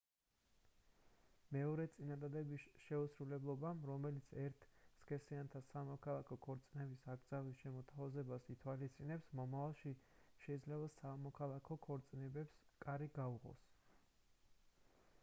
მეორე წინადადების შეუსრულებლობამ რომელიც ერთ სქესიანთა სამოქალაქო ქორწინების აკრძალვის შემოთავაზებას ითვალისწინებს მომავალში შეიძლება სამოქალაქო ქორწინებებს კარი გაუღოს